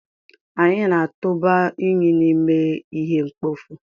Anyị na-atụba unyi n'ime ihe mkpofu.